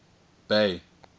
bay